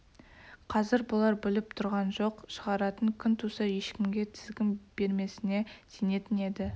қазір бұлар біліп тұрған жоқ шығаратын күн туса ешкімге тізгін бермесіне сенетін еді